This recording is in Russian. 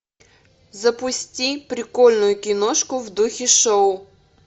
запусти прикольную киношку в духе шоу